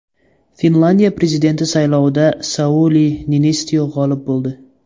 Finlyandiya prezidenti saylovida Sauli Niinistyo g‘olib bo‘ldi.